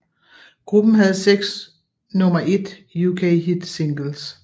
Gruppen havde 6 nummer 1 UK hit singles